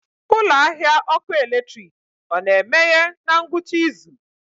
Ụlọ ahịa ọkụ eletrik ọ na-emeghe na ngwụcha izu?